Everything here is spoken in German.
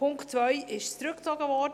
Der Punkt 2 wurde zurückgezogen.